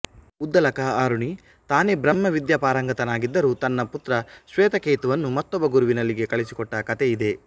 ಉದ್ದಾಲಕ ಆರುಣಿ ತಾನೇ ಬ್ರಹ್ಮ ವಿದ್ಯಾಪಾರಂಗತನಾಗಿದ್ದರೂ ತನ್ನ ಪುತ್ರ ಶ್ವೇತಕೇತುವನ್ನು ಮತ್ತೊಬ್ಬ ಗುರುವಿನಲ್ಲಿಗೆ ಕಳುಹಿಸಿಕೊಟ್ಟ ಕಥೆ ಇದೆ